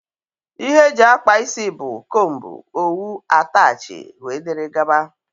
Ihe eji akpa ịsị bụ; combú, owu, atachi wdg.